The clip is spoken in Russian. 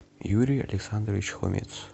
юрий александрович хомец